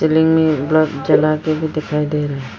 Ceiling में bulb जला के भी दिखाई दे रहा है।